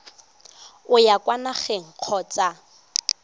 o ya kwa nageng kgotsa